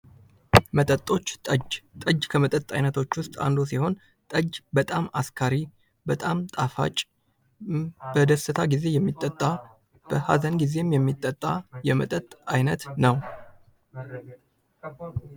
መጠጦች ጠጅ ከመጠጦች ውስጥ አንዱ ሲሆን ጠጅ በጣም አስካሪ በጣም ጣፋጭ በደስታ ግዜ የሚጠጣ በሐዘን ጊዜም የሚጠጣ የመጠጥ አይነት ነው።